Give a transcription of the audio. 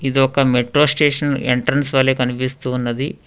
ఇది ఒక metro station entrance వలె కనిపిస్తూ ఉన్నది.